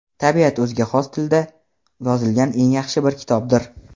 Tabiat o‘ziga xos tilda yozilgan eng yaxshi bir kitobdir.